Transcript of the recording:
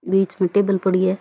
बीच में टेबल पड़ी है।